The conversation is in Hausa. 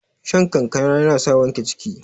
shan kankana yana sa wanke ciki